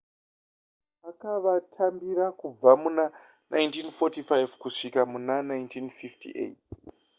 akavatambira kubva muna 1945 kusvika muna 1958